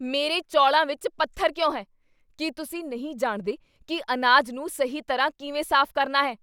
ਮੇਰੇ ਚੌਲਾਂ ਵਿੱਚ ਪੱਥਰ ਕਿਉਂ ਹੈ? ਕੀ ਤੁਸੀਂ ਨਹੀਂ ਜਾਣਦੇ ਕੀ ਅਨਾਜ ਨੂੰ ਸਹੀ ਤਰ੍ਹਾਂ ਕਿਵੇਂ ਸਾਫ਼ ਕਰਨਾ ਹੈ??